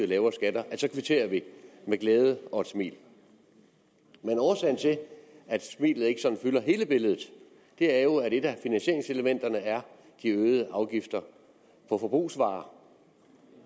lavere skatter så kvitterer vi med glæde og et smil årsagen til at smilet ikke fylder hele billedet er jo at et af finansieringselementerne er de øgede afgifter på forbrugsvarer